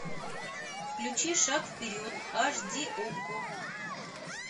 включи шаг вперед аш ди окко